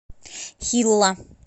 хилла